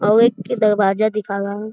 और एक दरवाजा दिखा रहा है।